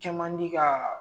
Cɛman diiga